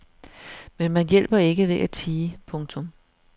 Men man hjælper ikke ved at tie. punktum